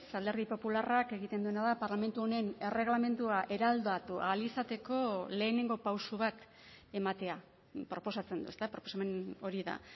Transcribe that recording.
alderdi popularrak egiten duena da parlamentu honen erregelamendua eraldatu ahal izateko lehenengo pauso bat ematea proposatzen du ezta proposamen hori da